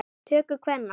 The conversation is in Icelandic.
töku kvenna.